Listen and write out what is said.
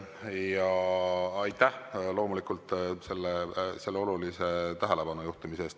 Ja aitäh loomulikult selle olulise tähelepanujuhtimise eest!